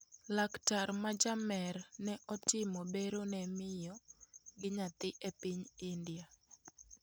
Laktar ma jamer ne otimo bero ne miyo gi nyathi e piny india.